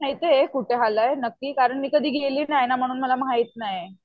माहितीये कुठं आलंय नक्की कारण मी कधी गेली नाहीये ना म्हणून मला माहित नाही.